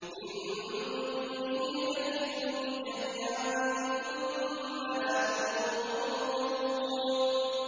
مِن دُونِهِ ۖ فَكِيدُونِي جَمِيعًا ثُمَّ لَا تُنظِرُونِ